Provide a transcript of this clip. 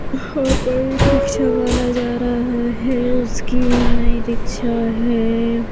यहाँ पर रिक्शा वाला जा रहा है उसकी नई रिक्शा है।